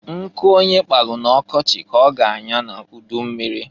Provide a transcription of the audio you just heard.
Nkụ onye kpalụ na ọkọchị ka ọ ga anyọ n'ujummiri.